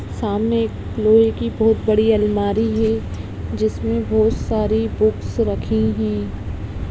सामने एक लोहे की बहोत बड़ी अलमारी है जिसमे बहुत सारी बुक्स रखी हैं।